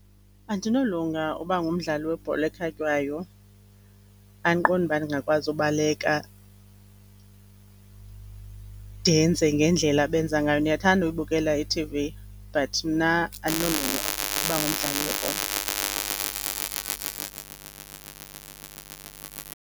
Andinolunga uba ngumdlali webhola ekhatywayo, andiqondi uba ndingakwazi ubaleka, ndenze ngendlela abenza ngayo. Ndiyathanda ukubukela i-T_V but mna andinolunga uba ngumdlali webhola.